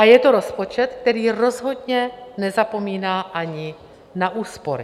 A je to rozpočet, který rozhodně nezapomíná ani na úspory.